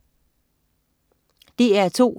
DR2: